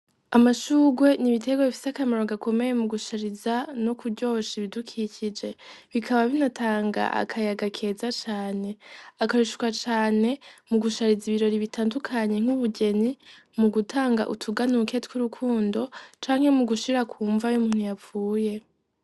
Amashugwe nibitegwa bifisi akamaro gakomeye mu gushariza no kuryosha ibidukikije bikaba binatanga akayaga keza cane akayushuka cane mu gushariza ibirori bitandukanyi nk'ubujeni mu gutanga utuganuke tw'urukundo canke mu gushira kumva y' muntu yapfuye.